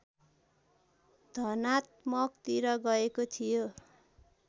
धनात्मकतिर गएको थयो